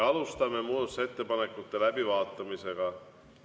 Alustame muudatusettepanekute läbivaatamisega.